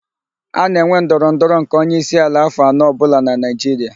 A na-enwe ndọrọ ndọrọ nke onyeisiala afọ anọ ọbụla n'Naịjiria.